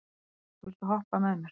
Vígberg, viltu hoppa með mér?